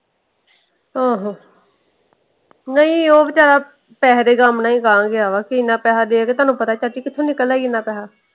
ਆਹੋ। ਨਹੀਂ ਉਹ ਵੇਚਾਰਾ ਪੈਸੇ ਦੇ ਗ਼ਮ ਨਾਲ ਹੀ ਗਾਹਾਂ ਗਿਆ ਵਾ। ਕੇ ਇਹਨਾ ਪੈਸੇ ਦੇ ਕੇ ਤੁਹਾਨੂੰ ਪਤਾ ਚਾਚੀ ਕਿਥੋਂ ਨਿਕਲਦਾ ਹੀ ਇਹਨਾ ਪੈਸਾ।